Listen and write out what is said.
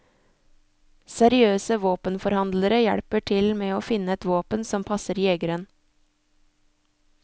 Seriøse våpenforhandlere hjelper til med å finne et våpen som passer jegeren.